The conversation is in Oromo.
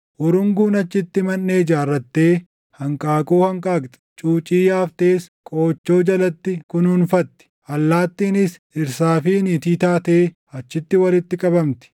Urunguun achitti manʼee ijaarrattee hanqaaquu hanqaaqxi; cuucii yaaftees qoochoo jalatti kunuunfatti; allaattiinis dhirsaa fi niitii taatee achitti walitti qabamti.